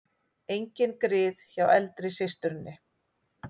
Engin grið hjá eldri systurinni